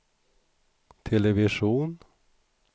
television